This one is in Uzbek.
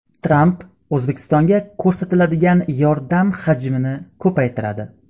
Tramp O‘zbekistonga ko‘rsatiladigan yordam hajmini ko‘paytiradi.